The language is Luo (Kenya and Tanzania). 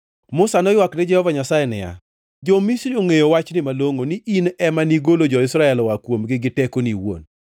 Musa noywak ne Jehova Nyasaye niya, “Jo-Misri ongʼeyo wachni malongʼo ni in ema nigolo jo-Israel oa kuomgi gi tekoni iwuon.